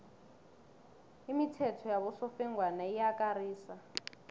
imithetho yabosofengwana iyakarisa